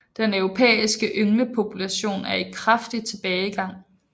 Den europæiske ynglepopulation er i kraftig tilbagegang